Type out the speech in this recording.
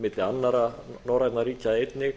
milli annarra norræna ríkja einnig